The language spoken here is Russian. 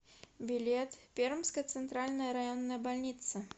билет пермская центральная районная больница